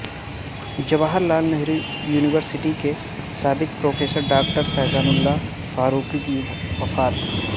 Jawahar Lal Nehru university کے سابق professor doctor Faizanullah Farooqui کی وفات